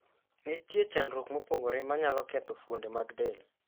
Nitie chandruok mopogore ma nyalo ketho fuonde mag del.